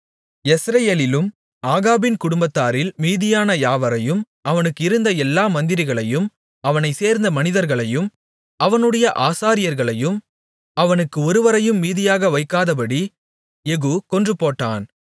யெஸ்ரயேலிலும் ஆகாபின் குடும்பத்தாரில் மீதியான யாவரையும் அவனுக்கு இருந்த எல்லா மந்திரிகளையும் அவனைச் சேர்ந்த மனிதர்களையும் அவனுடைய ஆசாரியர்களையும் அவனுக்கு ஒருவரையும் மீதியாக வைக்காதபடி யெகூ கொன்றுபோட்டான்